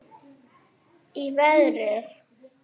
Í verið